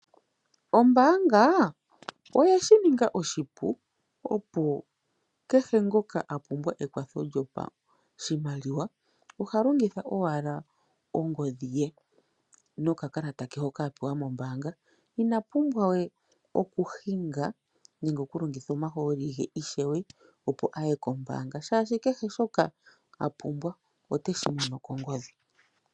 Ombaanga oyeshi ninga oshipu opo kehe ngoka apumbwa ekwatho lyopashimaliwa oha longitha owala ongodhi ye nokakalata ke hoka apewa mombaanga. Inapumbwa we okuhinga nenge oku longitha omahooli ge ishewe opo aye kombaanga oshoka kehe shoka apumbwa oteshi mono kongodhi.